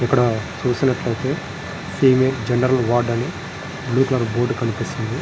ఇక్కడ చుసినట్టు అయతె ఫీమెయిల్ జెనెరల్ వార్డ్ అని బ్లూ కలర్ బోర్డ్ కనిపిస్తుంది.